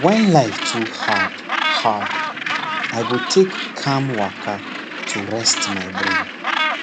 when life too hard hard i go take calm waka to rest my brain